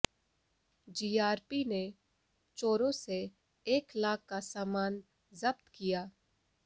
GRP ने चोरों से एक लाख का सामान जब्त किया